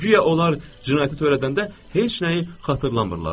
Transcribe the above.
Guya onlar cinayəti törədəndə heç nəyi xatırlamırlarmış.